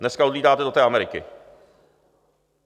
Dneska odlétáte do té Ameriky.